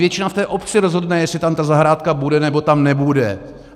Většina v té obci rozhodne, jestli tam ta zahrádka bude, nebo tam nebude.